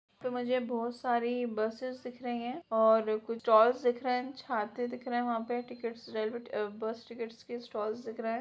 तो मुझे बहुत सारी बसेस दिख रही हैं और कुछ स्टाल दिख रहे हैं छाते दिख रहे है वहाँ पे टिकट्स रेलवे अ बस टिकट्स के स्टाल दिख रहे हैं।